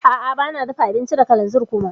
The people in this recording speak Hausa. A'a bana dafa abinci da kalanzir kuma.